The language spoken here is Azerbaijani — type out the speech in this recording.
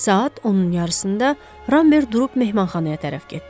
Saat 10-un yarısında Ramber durub mehmanxanaya tərəf getdi.